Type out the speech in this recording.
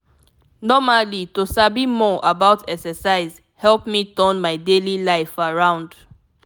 normally to sabi more about exercise help me turn my daily life around.